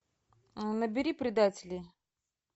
набери предатели